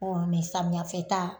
mɛ samiyɛ fɛ ta